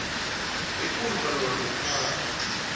ekulu malungana nokuphathwa